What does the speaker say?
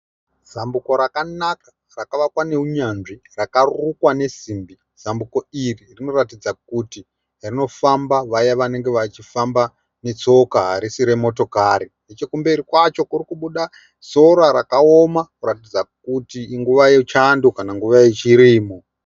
Zambuko rakanaka rakavakwa neunyanzvi rakarukwa nesimbi. Zambuko iri rinoratidza kuti rinofamba vaya vanenge vachifamba netsoka harisi remotokari. Nechokumberi kwacho kuri kubuda sora rakaoma kuratidza kuti inguva yechando kana kuti inguva yechirimo.